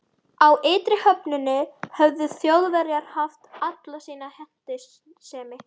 Á ytri höfninni höfðu Þjóðverjar haft alla sína hentisemi.